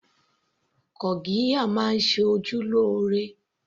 Gurgiya máa ń ṣe ojú lóore